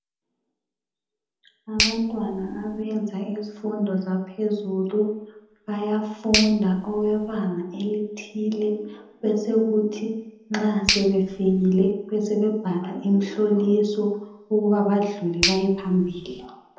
Abantwana abenza izifundo zaphezulu, bayafunda okwebanga elithile , besekuthi nxa sebefikile besebe bhala imhloliso ukuba badlule beyephambili.